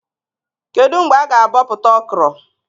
Kedụ mgbe a-ga abọpụta Okro?